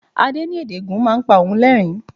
Adé ní èdè Ègùn máa ń pa òun lerin-in.